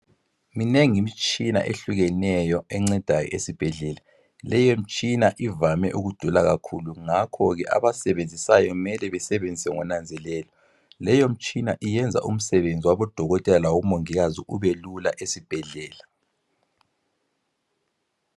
Minengi imtshina ehlukeneyo encedayo esibhedlela. Leyomtshina ivame ukudula kakhulu ngakhoke abasebenzisayo mele besebenzise ngonanzelelo, leyomtshina iyenza umsebenzi wabodokotela labomongikazi ubelula esibhedlela.